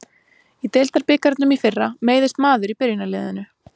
Í deildabikarnum í fyrra meiðist maður í byrjunarliðinu.